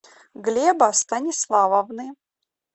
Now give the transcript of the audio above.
глеба станиславовны